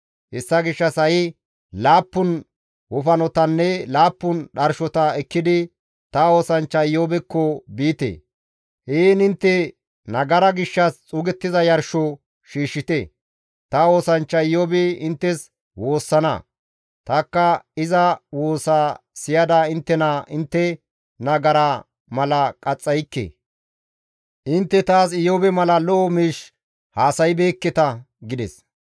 Hessa gishshas ha7i laappun wofanotanne laappun dharshota ekkidi ta oosanchcha Iyoobekko biite. Heen intte nagara gishshas xuugettiza yarsho shiishshite. Ta oosanchcha Iyoobi inttes woossana; tanikka iza woosa siyada inttena intte nagara mala qaxxaykke. Intte taas Iyoobe mala lo7o miish haasaybeekketa» gides.